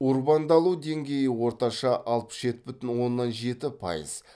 урбандалу деңгейі орташа алпыс жеті бүтін оннан жеті пайыз